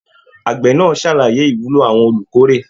Àgbẹ náà sàlàyé ìwúlò àwọn olukórè.